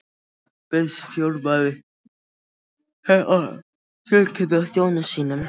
Þetta bauðst formaðurinn til að tilkynna þjóni sínum.